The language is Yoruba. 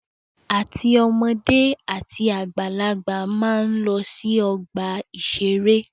Àti ọmọdé àti àgbàlagbà máa ń lọ sí ọgbà-ìṣeré